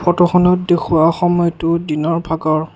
ফটোখনত দেখুওৱা সময়টো দিনৰ ভাগৰ।